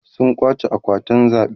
sun kwace akwatin zaɓe